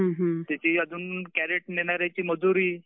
त्याची अजून कॅरेट नेणाऱ्यांची मजुरी